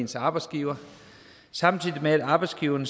til arbejdsgiveren samtidig med at arbejdsgiveren